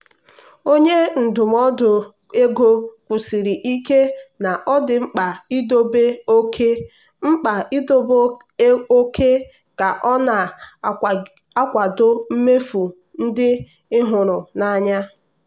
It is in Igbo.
onye ndụmọdụ nke ego kwusiri ike na ọ dị mkpa idobe oke mkpa idobe oke ka ọ na-akwado mmefu ndị ị hụrụ n'anya.